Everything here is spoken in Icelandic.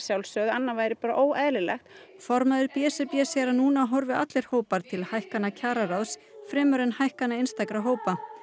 annað væri bara óeðlilegt formaður b s r b segir að núna horfi allir hópar til hækkana kjararáðs fremur en hækkana einstakra hópa